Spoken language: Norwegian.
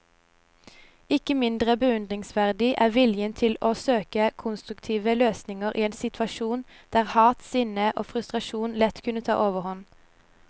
Ikke mindre beundringsverdig er viljen til å søke konstruktive løsninger i en situasjon der hat, sinne og frustrasjon lett kunne ta overhånd.